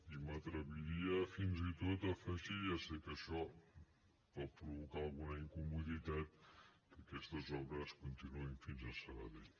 i m’atreviria fins i tot a afegir hi ja sé que això pot provocar alguna incomoditat que aquestes obres continuïn fins a sabadell